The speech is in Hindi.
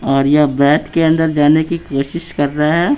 और ये बैथ के अंदर जाने की कोशिश कर रहा है।